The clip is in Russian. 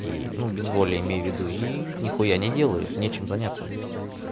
и ну без воли имею в виду и не хуя не делают нечем заняться здесь